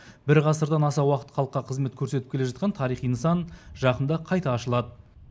бір ғасырдан аса уақыт халыққа қызмет көрсетіп келе жатқан тарихи нысан жақында қайта ашылады